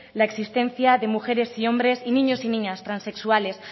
la existencia de mujeres y hombres y niños y niñas transexuales